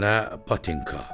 Nə patinka?